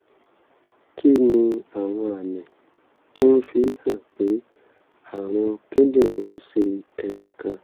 kí ni àwọn àmì tó ń fi hàn pé àrùn kíndìnrín ń ṣe ẹnì kan?